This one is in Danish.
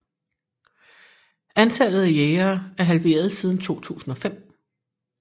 Antallet af jægere er halveret siden 2005